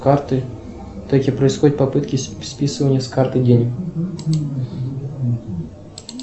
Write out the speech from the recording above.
карты таки происходят попытки списывания с карты денег